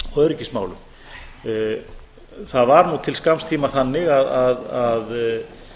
öryggismálum það var nú til skamms tíma þannig að